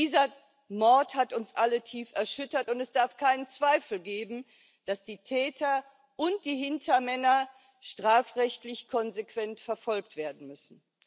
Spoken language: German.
Dieser Mord hat uns alle tief erschüttert und es darf keinen Zweifel geben, dass die Täter und die Hintermänner strafrechtlich konsequent verfolgt werden müssen.